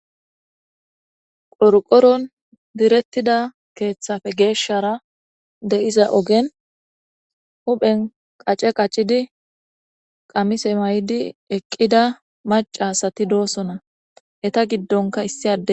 Qorqoron direttida keeththafe geeshshara deiza ogen huphen qace qaccidi qamise may'di eqqida macasati doosona heta giddonka issi ade.